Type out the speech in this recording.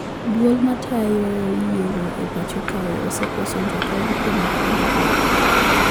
Duol matayo yiero e pacho kae osekoso jakom kuom ndalo mathoth